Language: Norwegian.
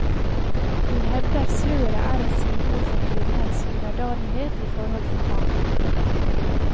Hun hevder sløret er et symbol for kvinnens underdanighet i forhold til mannen.